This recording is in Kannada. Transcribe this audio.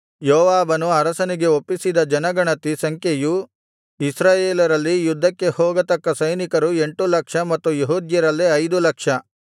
ಯೋವಾಬನು ಅರಸನಿಗೆ ಒಪ್ಪಿಸಿದ ಜನಗಣತಿ ಸಂಖ್ಯೆಯು ಇಸ್ರಾಯೇಲರಲ್ಲಿ ಯುದ್ಧಕ್ಕೆ ಹೋಗತಕ್ಕ ಸೈನಿಕರು ಎಂಟು ಲಕ್ಷ ಮತ್ತು ಯೆಹೂದ್ಯರಲ್ಲಿ ಐದು ಲಕ್ಷ